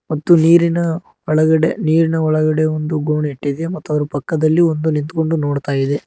ಮತ್ತು ನೀರಿನ ಒಳಗಡೆ ನೀರಿನ ಒಳಗಡೆ ಒಂದು ಗೋಣ್ ಇಟ್ಟಿದೆ ಮತ್ತು ಅದರ ಪಕ್ಕದಲ್ಲಿ ಒಂದು ನಿಂತ್ಕೊಂಡು ನೋಡುತ್ತೇವೆ.